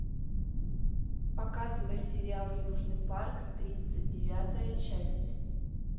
показывай сериал южный парк тридцать девятая часть